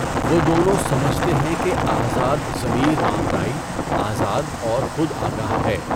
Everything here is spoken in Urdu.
وہ دونوں سمجھتے ہیں کہ آزاد ضمیر ماورائی، آزاد اور خود آگاہ ہے۔